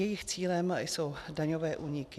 Jejich cílem jsou daňové úniky.